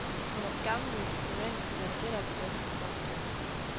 Hun er skamløst romantisk, når det gælder den danske sangskat.